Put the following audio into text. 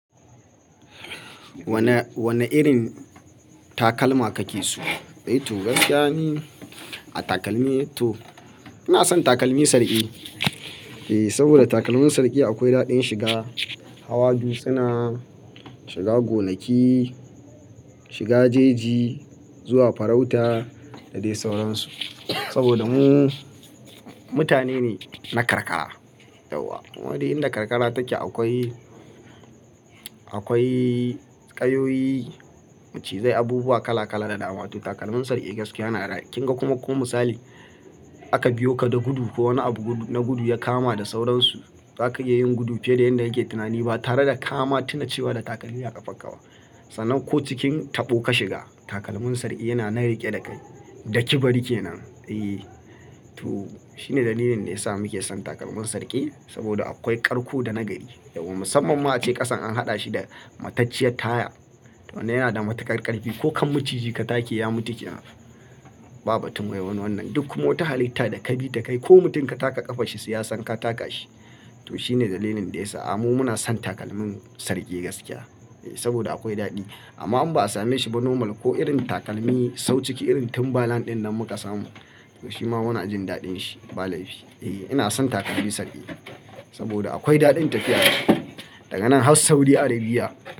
Wane, wane irin takalma kake so? To gaskiya ni a takalmi to ina son takalmi sarki. Eh saboda takalmin sarki akwai daɗin shiga, hawa dutsuna shiga gonaki, shiga jeji, zuwa farauta da dai sauransu. Saboda mu mutane ne na karkara yauwa. Wa dai inda karkara take akwai, akwai ƙayoyi, macizai, abubuwa kala kala da dama. To takalmin sarki gaskiya yana daɗi. Kin ga kuma ko misali aka biyo ka da gudu ko wani abu na gudu ya kama da sauransu, zaka iya yin gudu fiye da yadda yake tunani ba tare da kama tuna cewa da takalmi a ƙafanka ba. Sanan ko cikin taɓo ka shiga takalmin sarki yana na riƙe da kai, daki bari kenan. Eh to shine dalilin da yasa muke son takalmin sarki saboda akwai karko da na gari yauwa. Musamman ma a ce ƙasan an haɗa shi da matacciyar taya to wannan yana da mata karkari ko kan maciji ka take ya mutu kinan. Ba batun wai wannan duk kuma ta halitta da kabi da kai ko mutum ka taka ƙafa shi su yasan ka taka shi. To shine dalilin da yasa a'a mu muna son takalmin sarki gaskiya. Eh saboda akwai daɗi amma in ba a same shi ba normal ko irin takalmi sau ciki irin timbalan ɗin nan muka samu. Shima muna jin daɗin shi ba laifi. Eh ina son takalmi sarki saboda akwai daɗin tafiya. Daganan Has Saudi Arabia.